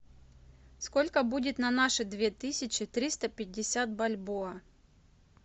сколько будет на наши две тысячи триста пятьдесят бальбоа